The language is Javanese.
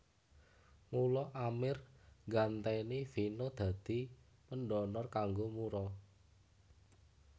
Mula Amir nggantèni Vino dadi pendonor kanggo Mura